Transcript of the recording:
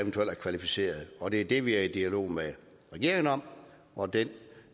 klassificeret og det er det vi er i dialog med regeringen om og den